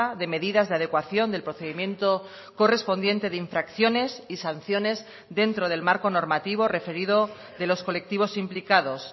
de medidas de adecuación del procedimiento correspondiente de infracciones y sanciones dentro del marco normativo referido de los colectivos implicados